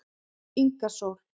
Inga Sól